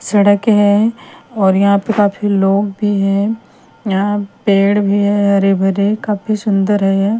सड़क है और यहाँ पे काफी लोग भी हैं यहाँ पेड़ भी है हरे-भरे काफी सुंदर है।